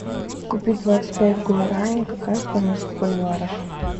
купить двадцать пять гуарани какая стоимость в боливарах